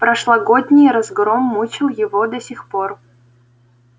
прошлогодний разгром мучил его до сих пор